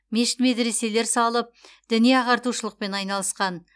мешіт медреселер салып діни ағартушылықпен айналысқан